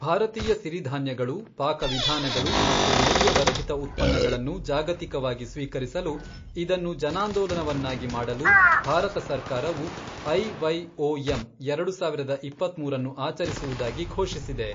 ಭಾರತೀಯ ಸಿರಿಧಾನ್ಯಗಳು, ಪಾಕವಿಧಾನಗಳು ಮತ್ತು ಮೌಲ್ಯವರ್ಧಿತ ಉತ್ಪನ್ನಗಳನ್ನು ಜಾಗತಿಕವಾಗಿ ಸ್ವೀಕರಿಸಲು ಇದನ್ನು ಜನಾಂದೋಲನವನ್ನಾಗಿ ಮಾಡಲು ಭಾರತ ಸರ್ಕಾರವು ಐವೈಒಎಂ, ಎರಡು ಸಾವಿರದ ಇಪ್ಪತ್ಮೂರನ್ನು ಆಚರಿಸುವುದಾಗಿ ಘೋಷಿಸಿದೆ.